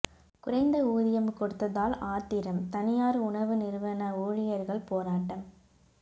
குறைந்த ஊதியம் கொடுத்ததால் ஆத்திரம் தனியார் உணவு நிறுவன ஊழியர்கள் போராட்டம்